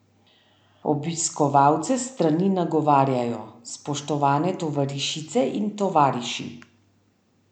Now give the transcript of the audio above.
Obiskovalce strani nagovarjajo: "Spoštovane tovarišice in tovariši!